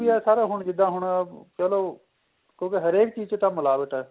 ਏ ਸਾਰਾ ਹੁਣ ਜਿੱਦਾ ਹੁਣ ਕਹਿ ਲੋ ਕਿਉਂਕਿ ਹਰੇਕ ਚੀਜ ਚ ਤਾਂ ਮਿਲਾਵਟ ਏ